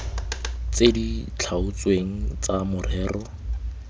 tse di tlhaotsweng tsa morero